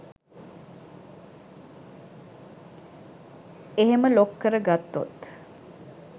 එහෙම ලොක් කරගත්තොත්